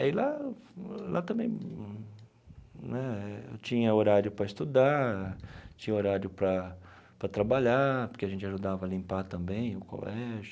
E lá lá também né tinha horário para estudar, tinha horário para para trabalhar, porque a gente ajudava a limpar também o colégio.